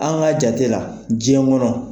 An ka jate la jɛn kɔnɔ.